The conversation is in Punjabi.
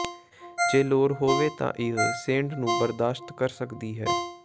ਜੇ ਲੋੜ ਹੋਵੇ ਤਾਂ ਇਹ ਸ਼ੇਡ ਨੂੰ ਬਰਦਾਸ਼ਤ ਕਰ ਸਕਦੀ ਹੈ